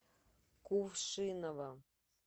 кувшиново